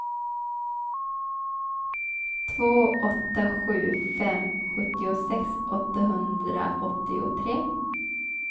två åtta sju fem sjuttiosex åttahundraåttiotre